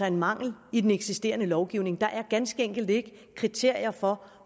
en mangel i den eksisterende lovgivning der er ganske enkelt ikke kriterier for